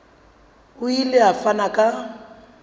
o ile a fana ka